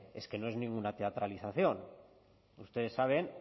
es que no es ninguna teatralización ustedes saben